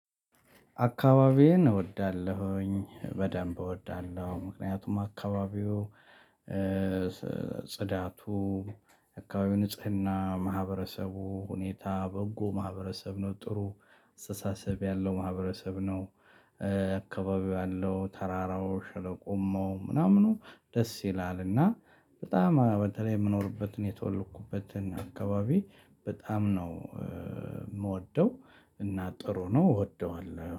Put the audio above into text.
አካባቢዬን እወዳለሁኝ በደንብ እወዳለሁ ምክንያቱም አካባቢው ጽዳቱ እካባቢ ንጽህና ማህበረሰቡ ሁኔታ በጎ ማህበረሰብ ነው ጥሩ አስተሳሰብ ያለው ማህበረሰብ ነው። አካባቢው ያለው ተራራው ሸለቆሙ ምናምኑ ደስ ይላልና። በጣም በተለይ የምኖርበትን የተወለውኩበትን አካባቢ በጣም ነው። የምወደው እና ጥሩ ነው እወደዋለሁ